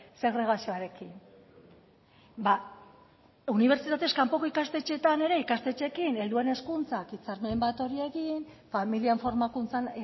segregazioarekin ba unibertsitatez kanpoko ikastetxeetan ere ikastetxeekin helduen hezkuntzak hitzarmen bat hor egin familien formakuntzan